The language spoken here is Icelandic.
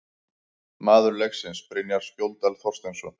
Maður leiksins: Brynjar Skjóldal Þorsteinsson